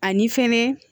Ani fɛnɛ